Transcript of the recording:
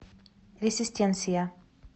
ресистенсия